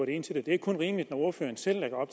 ind til det det er kun rimeligt når ordføreren selv lægger